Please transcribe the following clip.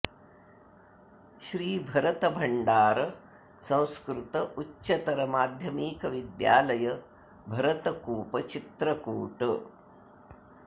श्री भरत भण्डार संस्कृत उच्चतर माध्यमिक विद्यालय भरतकूप चित्रकूट